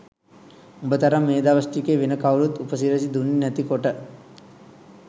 උඹ තරම් මේ දවස් ටිකේ වෙන කවුරුවත් උපසිරැසි දුන්නෙ නැති කොට